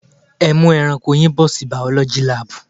Ẹ mú ẹranko yín bọ̀ sí biology lab.